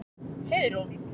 Heiðrún